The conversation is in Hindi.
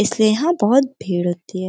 इसलिए यहां बहुत भीड़ होती है।